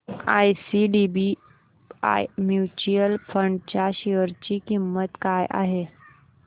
IDBI mutual fund च्या share ची किंमत काय आहे